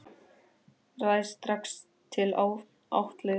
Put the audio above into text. Ræðst strax til atlögu.